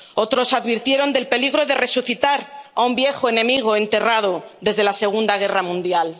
Otros advirtieron del peligro de resucitar a un viejo enemigo enterrado desde la Segunda Guerra Mundial.